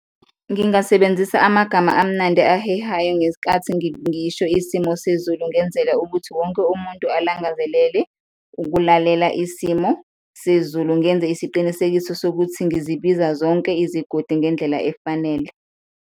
Ngingasebenzisa amagama amnandi ahehayo ngesikhathi ngisho isimo sezulu, ngenzela ukuthi wonke umuntu alangazelele ukulalela isimo sezulu, ngenze isiqinisekiso sokuthi ngizibiza zonke izigodi ngendlela efanele.